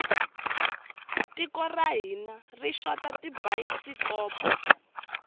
tiko ra hina ri xota tibayisikopo